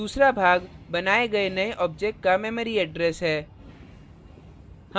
दूसरा भाग बनाये गये नये object का memory address है